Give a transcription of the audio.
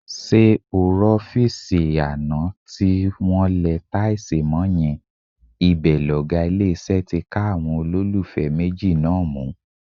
Ṣé o rọ́fíìsì àná tí wọn lẹ táìsì mọ́ yẹn, ibẹ̀ lọ̀gá ilé-iṣẹ́ ti ká àwọn olólùfẹ́ méjì náà mú.